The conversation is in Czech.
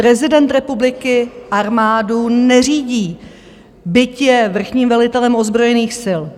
Prezident republiky armádu neřídí, byť je vrchním velitelem ozbrojených sil.